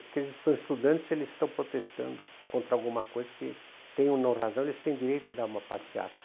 Porque eles estão estudando e eles estão protestando contra alguma coisa que, tenham não razão, eles têm direito de dar uma passeata.